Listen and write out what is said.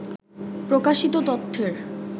প্রকাশিত তথ্যের